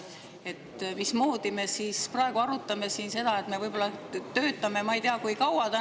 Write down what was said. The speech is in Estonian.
Me praegu siin arutame seda, et me töötame täna ei tea kui kaua.